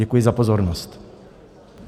Děkuji za pozornost.